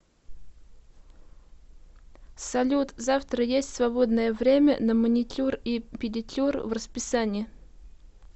салют завтра есть свободное время на маникюр и педикюр в расписании